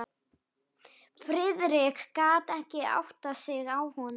Friðrik gat ekki áttað sig á honum.